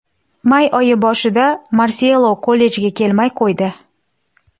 May oyi boshida Marselo kollejga kelmay qo‘ydi.